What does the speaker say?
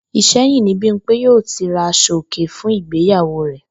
Ìsé̩yìn ni Bímpé yóò ti ra as̩o-òkè fún ìgbéyàwó rè̩